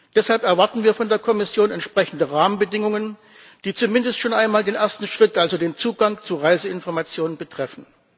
Deshalb erwarten wir von der Kommission entsprechende Rahmenbedingungen, die zumindest schon einmal den ersten Schritt, also den Zugang zu Reiseinformationen, betreffen.